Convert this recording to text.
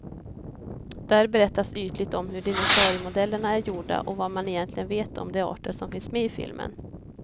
Där berättas ytligt om hur dinosauriemodellerna är gjorda och vad man egentligen vet om de arter som finns med i filmen.